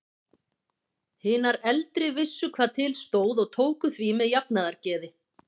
Hinar eldri vissu hvað til stóð og tóku því með jafnaðargeði.